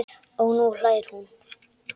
Og nú hlær hún.